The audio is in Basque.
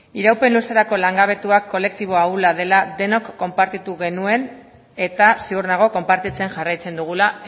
iraupen luzerako kolektiboa kolektibo ahula dela denok konpartitu genuen eta ziur nago konpartitzen jarraitzen dugula